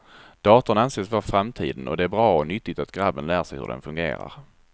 Datorn anses vara framtiden och det är bra och nyttigt att grabben lär sig hur den fungerar.